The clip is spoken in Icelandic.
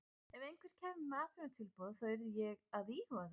Ef einhver kæmi með atvinnutilboð þá yrði ég að íhuga það.